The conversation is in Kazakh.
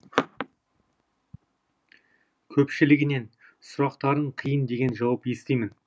көпшілігінен сұрақтарың қиын деген жауап естимін